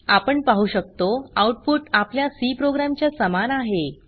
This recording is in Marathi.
आपण पाहु शकतो आउटपुट आपल्या सी प्रोग्राम च्या समान आहे